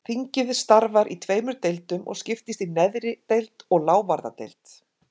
Þingið starfar í tveimur deildum og skiptist í neðri deild og lávarðadeild.